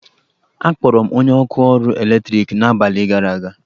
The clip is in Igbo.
Akpọrọ m onye ọkụ ọrụ eletriki n'abalị gara aga.